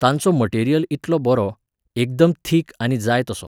तांचो मटेरियल इतलो बरो, एकदम थीक आनी जाय तसो.